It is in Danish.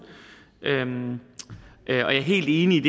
jeg er helt enig